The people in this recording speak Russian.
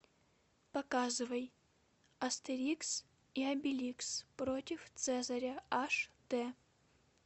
показывай астерикс и обеликс против цезаря аш дэ